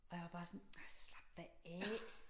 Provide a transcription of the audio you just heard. Og jeg var bare sådan ej slap da af